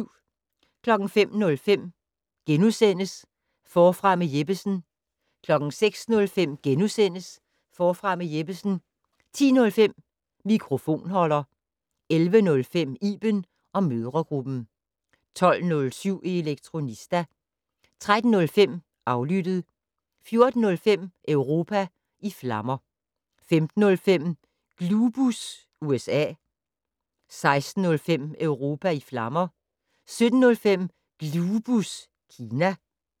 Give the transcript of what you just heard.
05:05: Forfra med Jeppesen * 06:05: Forfra med Jeppesen * 10:05: Mikrofonholder 11:05: Iben & mødregruppen 12:07: Elektronista 13:05: Aflyttet 14:05: Europa i flammer 15:05: Glubus USA 16:05: Europa i flammer 17:05: Glubus Kina